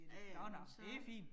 Ja ja, men så